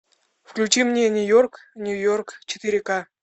включи мне нью йорк нью йорк четыре ка